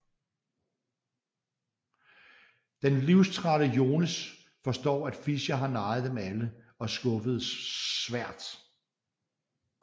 Den livstrætte Jones forstår at Fischer har narret dem alle og skuffes svært